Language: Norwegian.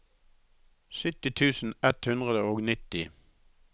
sytti tusen ett hundre og nitti